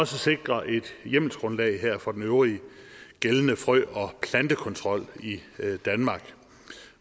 sikre et hjemmelsgrundlag for den øvrige gældende frø og plantekontrol i danmark